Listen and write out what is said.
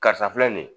Karisa filɛ nin ye